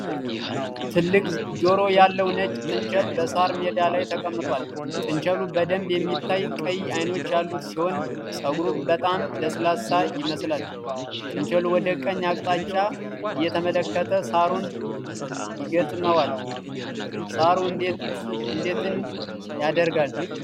ትልቅ ጆሮ ያለው ነጭ ጥንቸል በሳር ሜዳ ላይ ተቀምጧል። ጥንቸሉ በደንብ የሚታይ ቀይ ዓይኖች ያሉት ሲሆን፣ ፀጉሩ በጣም ለስላሳ ይመስላል። ጥንቸሉ ወደ ቀኝ አቅጣጫ እየተመለከተ ሳሩን ይገጥመዋል። ሳሩ እንዴት ን ያድጋል?